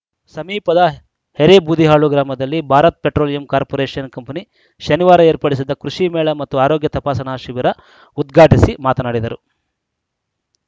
ಸಮೀಪದ ಎರೇಬೂದಿಹಾಳು ಗ್ರಾಮದಲ್ಲಿ Bharat Petroleum Corporation company ಶನಿವಾರ ಏರ್ಪಡಿಸಿದ್ದ ಕೃಷಿ ಮೇಳ ಮತ್ತು ಆರೋಗ್ಯ ತಪಾಸಣಾ ಶಿಬಿರ ಉದ್ಘಾಟಿಸಿ ಮಾತನಾಡಿದರು